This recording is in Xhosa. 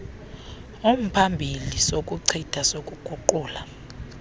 umphambili sokuchitha sokuguqula